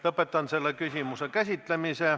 Lõpetan selle küsimuse käsitlemise.